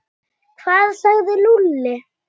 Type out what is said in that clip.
Hvað sagði Lúlli?